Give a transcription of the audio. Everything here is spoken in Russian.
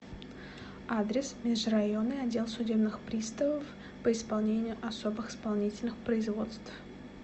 адрес межрайонный отдел судебных приставов по исполнению особых исполнительных производств